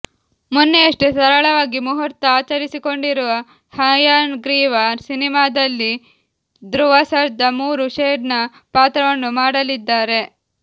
ಮೊನ್ನೆಯಷ್ಟೇ ಸರಳವಾಗಿ ಮುಹೂರ್ತ ಆಚರಿಸಿಕೊಂಡಿರುವ ಹಯಗ್ರೀವ ಸಿನಿಮಾದಲ್ಲಿ ಧ್ರುವ ಸರ್ಜಾ ಮೂರು ಶೇಡ್ನ ಪಾತ್ರವನ್ನು ಮಾಡಲಿದ್ದಾರೆ